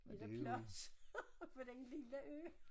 Er der plads på den lille ø